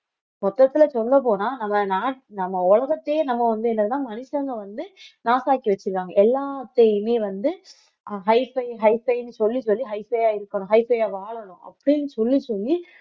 மொத்தத்துல சொல்லப்போனா நம்ம நம்ம உலகத்தையே நம்ம வந்து என்னன்னா மனுஷங்க வந்து நாசாக்கி வச்சிருக்காங்க எல்லாத்தையுமே வந்து hifi hifi ன்னு சொல்லி சொல்லி hifi ஆ இருக்கணும் hifi ஆ வாழணும் அப்படினு சொல்லி சொல்லி